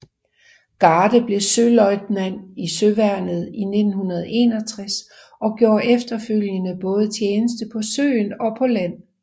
Garde blev søløjtnant i Søværnet i 1961 og gjorde efterfølgende både tjeneste på søen og på land